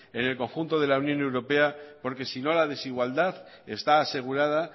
en el conjunto de la unión europea porque si no la desigualdad está asegurada